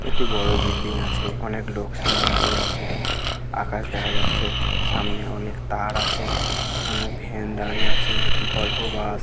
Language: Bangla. একটি বড়ো বিল্ডিং আছে অনেক লোক সামনে দাঁড়িয়ে আছে আকাশ দেখা যাচ্ছে সামনে অনেক তার আছে অনেক ভ্যান দাঁড়িয়ে আছে ভলভো বাস